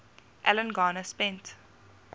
alan garner spent